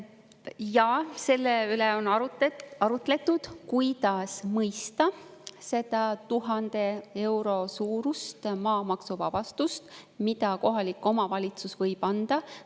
Jaa, selle üle on arutletud, kuidas mõista seda 1000 euro suurust maamaksuvabastust, mida kohalik omavalitsus võib anda.